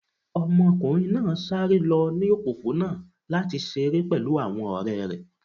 Ọmọkunrin naa sare lọ ni opopona lati ṣere pẹlu awọn ọrẹ rẹ